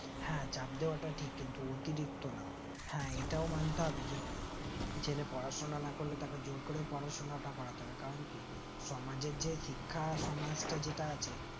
হ্যাঁ চাপ দেয়াটা ঠিক কিন্তু অতিরিক্ত না হ্যাঁ এটাও মানতে হবে যে ছেলে পড়াশোনা না করলে তাকে জোরকরে পড়াশোনাটা করতে হবে কারণ কি সমাজের যে শিক্ষা সমাজটা যেটা আছে